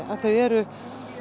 að þau eru